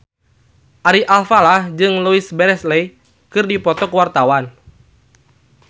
Ari Alfalah jeung Louise Brealey keur dipoto ku wartawan